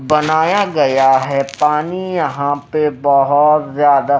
बनाया गया है पानी यहां पे बहुत ज्यादा--